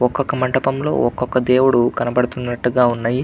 ఒక ఒక మంటపంలో ఒక ఒక దేవుడు కనబడనట్టు ఉన్నాయి --